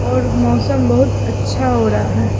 और मौसम बहुत अच्छा हो रहा--